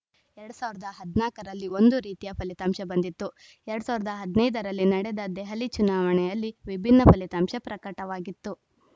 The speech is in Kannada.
ಎರಡ್ ಸಾವಿರದ ಹದಿನಾಲ್ಕ ರಲ್ಲಿ ಒಂದು ರೀತಿಯ ಫಲಿತಾಂಶ ಬಂದಿತ್ತು ಎರಡ್ ಸಾವಿರದ ಹದಿನೈದ ರಲ್ಲಿ ನಡೆದ ದೆಹಲಿ ಚುನಾವಣೆಯಲ್ಲಿ ವಿಭಿನ್ನ ಫಲಿತಾಂಶ ಪ್ರಕಟವಾಗಿತ್ತು